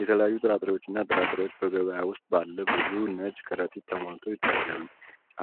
የተለያዩ ጥራጥሬዎችና ጥራጥሬዎች በገበያ ውስጥ ባለ ብዙ ነጭ ከረጢቶች ተሞልተው ይታያሉ።